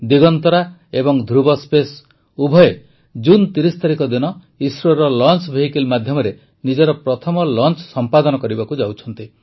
ଦିଗନ୍ତରା ଏବଂ ଧୃବସ୍ପେସ୍ ଉଭୟେ ଜୁନ ୩୦ ତାରିଖ ଦିନ ଇସ୍ରୋର ଲଂଚ ଭେଇକିଲ୍ ମାଧ୍ୟମରେ ନିଜର ପ୍ରଥମ ଲଂଚ ସମ୍ପାଦନ କରିବାକୁ ଯାଉଛନ୍ତି